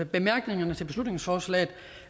bemærkningerne til beslutningsforslaget